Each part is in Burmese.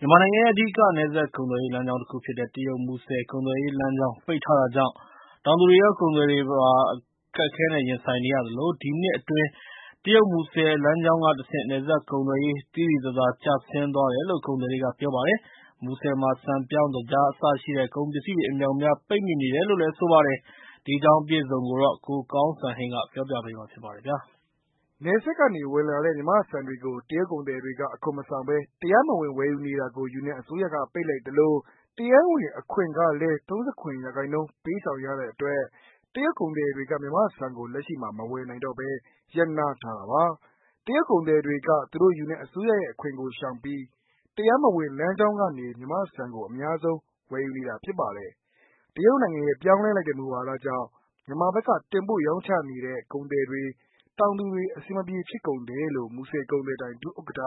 မြန်မာနိုင်ငံရဲ့ အဓိက နယ်စပ်ကုန်သွယ်ရေး လမ်းကြောင်းတခုဖြစ်တဲ့ တရုတ်-မူဆယ် ကုန်သွယ်ရေး လမ်းကြောင်း ပိတ်ထားတာကြောင့် တောင်သူတွေရော ကုန်သည်တွေပါ အခက်အခဲနဲ့ ရင်ဆိုင်နေရသလို၊ ဒီနှစ်အတွင်း တရုတ်-မူဆယ်လမ်းကြောင်းကတဆင့် နယ်စပ်ကုန်သွယ်ရေး သိသိသာသာ ကျဆင်းသွားတယ်လို့ ကုန်သည်တွေက ပြောပါတယ်။ မူဆယ်မှာ ဆန်၊ပြောင်း၊ သကြားအစရှိတဲ့ ကုန်ပစ္စည်းတွေ အမြောက်အမြားပိတ်မိနေတယ်လို့ ဆိုပါတယ်။ အပြည့်အစုံကိုတော့ ကိုကောင်းစံဟိန်းက ပြောပြပေးမှာပါ။ နယ်စပ်ကနေဝင်လာတဲ့ မြန်မာ့ဆန်တွေကို တရုတ်ကုန်သည်တွေက အခွန်မဆောင်ဘဲ တရားမဝင် ဝယ်ယူနေတာကို ယူနန်အစိုးရက ပိတ်လိုက်သလို၊ တရားဝင်အခွန်ကလည်း ၃၇% ပေးဆောင် ရတဲ့အတွက် တရုတ်ကုန်သည်တွေက မြန်မာ့ဆန်ကိုလက်ရှိမှာ မဝယ်နိုင်တော့ဘဲ ရပ်နားထားတာပါ။ တရုတ်ကုန်သည်တွေက သူတို့ယူနန်အစိုးရရဲ့ အခွန်ကိုရှောင်ပြီး တရားမဝင်လမ်းကြောင်းကနေ မြန်မာ့ဆန်ကို အများဆုံးဝယ်ယူနေတာဖြစ်ပါတယ်။ တရုတ်နိုင်ငံရဲ့ ပြောင်းလဲလိုက်တဲ့ မူဝါဒကြောင့် မြန်မာဘက်က တင်ပို့ရောင်းချနေတဲ့ ကုန်သည်တွေ တောင်သူတွေ အဆင်မပြေ ဖြစ်ကုန်တယ်လို့ မူဆယ် ကုန်စည်ဒိုင် ဒုဥက္ကဌ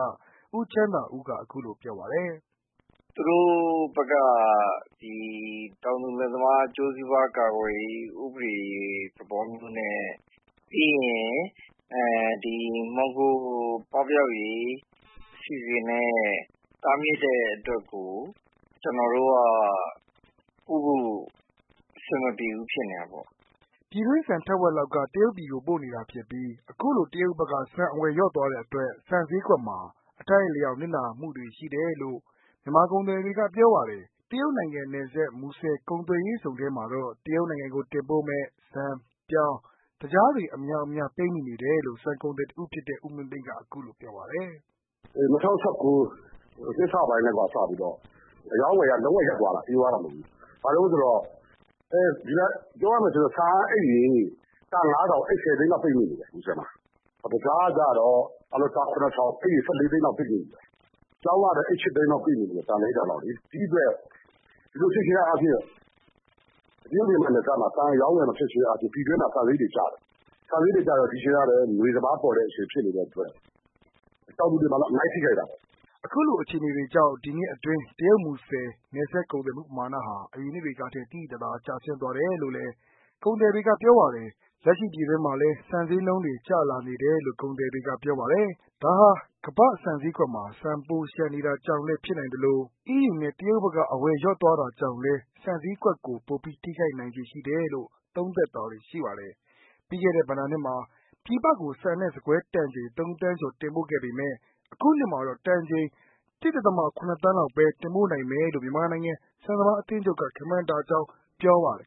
ဦးချမ်းသာဦးက ပြောပါတယ်။ “သူတို့ဘက်က တောင်သူလယ်သမား အကျိုးစီးပွား ကာကွယ်ရေး ဥပဒေ သဘောမျိုးနဲ့ ပြီးရင် မှောင်ခိုပပျောက်ရေး အစီအစဉ်နဲ့ တားမြစ်တဲ့အတွက် ကျနော်တို့က ပို့ဖို့ အဆင်မပြေဘူး ဖြစ်နေတာပေါ့” ပြည်တွင်းဆန်ထက်ဝက်လောက်က တရုတ်ပြည်ကိုပို့နေတာဖြစ်ပြီး အခုလို တရုတ်ဘက်က ဆန်အဝယ် လျှော့သွားတဲ့အတွက် ဆန်ဈေးကွက်မှာ အထိုက်အလျှောက်နစ်နာမှုတွေရှိတယ်လို့ မြန်မာကုန်သည်တွေက ပြောပါတယ်။ တရုတ်နိုင်ငံနယ်စပ် မူဆယ် ကုန်သွယ်ရေးဇုန်ထဲမှာတော့ တရုတ်နိုင်ငံကို တင်ပို့မယ့်ဆန်၊ ပြောင်း၊ သကြားတွေအမြောက်အများ ပိတ်မိနေတယ်လို့ ဆန်ကုန်သည်တစ်ဦးဖြစ်တဲ့ ဦးမင်းသိန်းကပြောပါတယ်။ “ ၂၀၁၉ နှစ်စပိုင်းကတည်းကနေ စပြီးတော့ အရောင်းအဝယ်က လုံး၀ ရပ်သွားတာ ဘာဖြစ်လို့လဲဆိုတော့ ဆန်အိတ်တွေ ၁၀ သိန်းလောက် ပိတ်မိနေတယ် မူဆယ်မှာ။ တခြားကတော့ အိတ်ရေ ၁၄ သိန်းလောက်ပိတ်မိနေတယ် ပြောင်းကတော့ အိတ် ၈ သိန်းလောက်ပိတ်မိနေတယ် ။ ဒါကိုကြည့်ခြင်းအားဖြင့် တရုတ်ပြည်နယ်စပ်မှာ ဆန်အရောင်းအဝယ်မဖြစ်တော့ ပြည်တွင်းမှာ ဆန်ဈေးတွေကျတယ် ။ ဆန်ဈေးတွေကျတော့ ဒီအချိန်က ငွေစပါးပေါ်တဲ့အချိန်ဖြစ်နေတဲ့အတွက် တောင်သူတွေမှာ အများကြီးထိခိုက်တာပေါ့။” ခုလို အခြေအနေတွေကြောင့် ဒီနှစ်အတွင်း တရုတ်-မူဆယ် နယ်စပ်ကုန်သွယ်မှုပမာဏဟာ အရင်နှစ်တွေကထက် သိသိသာသာ ကျဆင်းသွားတယ်လို့လည်း ကုန်သည်တွေကပြောပါတယ်။ လက်ရှိ ပြည်တွင်းမှာလည်း ဆန်ဈေးနှုန်းတွေ ကျလာနေတယ်လို ကုန်သည်တွေကပြောပါတယ်။ ဒါဟာ ကမ္ဘာ့ဆန်ဈေးကွက်မှာ ဆန်ပိုလျှံနေတာကြောင့်လည်း ဖြစ်နိုင်သလို အီးယူနဲ့ တရုတ်ဘက်က အဝယ်လျှော့သွားတာကြောင့်လည်း ဆန်ဈေးကွက်ကို ပိုပြီးထိခိုက်နိုင်ခြေရှိတယ်လို့ သုံးသပ်တာတွေ ရှိပါတယ်။ ပြီးခဲ့တဲ့ဘဏ္ဍာနှစ်မှာ ပြည်ပကို ဆန်နဲ့ ဆန်ကွဲတန်ချိန် ၃ သန်းကျော်တင်ပို့ခဲ့ပေမဲ့ အခုနှစ်မှာတော့ တန်ချိန် ၁.၇ သန်းလောက်ပဲ တင်ပို့နိုင်မယ်လို့ မြန်မာနိုင်ငံ ဆန်စပါးအသင်းချုပ်က ခန့်မှန်းထားကြောင်း ပြောပါတယ်